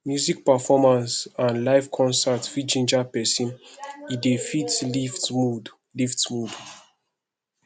music performance and live concert fit ginger person e dey lift mood lift mood